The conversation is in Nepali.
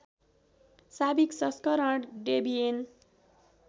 साविक संस्करण डेबियन